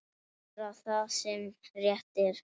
Gera það sem rétt er.